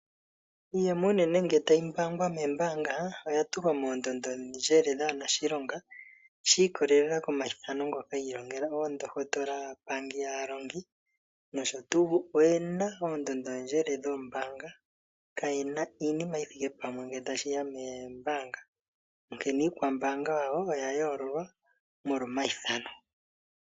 Iiyemo uunene ngele tayi mbaangwa moombaanga oyatulwa moondondondjele dhaanashilonga shiikolelela komayithano ngoka yiilongela oondohotola, aapangi, aalongi noshotu. Oyena oondondondjele dhoombaanga kayena iinima yithike pamwe ngele tashiya moombaanga onkene iikwambaanga yawo oyayoololwa molwa omayithano.